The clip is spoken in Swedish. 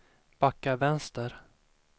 backa vänster